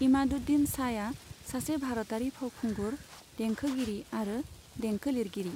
इमादुद्दीन शाहआ सासे भारतारि फावखुंगुर, देंखोगिरि आरो देंखो लिरगिरि।